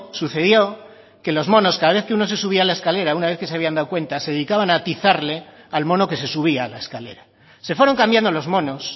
sucedió que los monos cada vez que uno se subía a la escalera una vez que se habían dado cuenta se dedicaban a atizarle al mono que se subía a la escalera se fueron cambiando los monos